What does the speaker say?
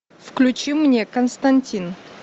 включи мне константин